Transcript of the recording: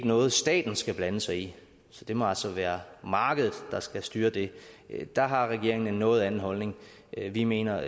noget staten skal blande sig i så det må altså være markedet der skal styre det der har regeringen en noget anden holdning vi mener